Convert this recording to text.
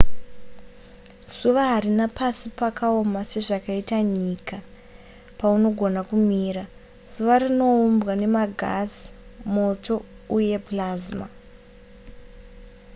zuva harina pasi pakaoma sezvakaita nyika paunogona kumira zuva rinoumbwa nemagasi moto uye plasma